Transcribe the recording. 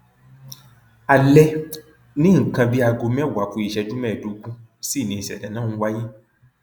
alẹ ní nǹkan bíi aago mẹwàá ku ìṣẹjú mẹẹẹdógún sí ni ìṣẹlẹ náà ń wáyé